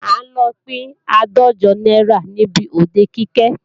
À ń lọ pín àádọ́jọ náírà níbi òde Kike